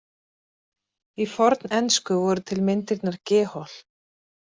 Í fornensku voru til myndirnar gehhol.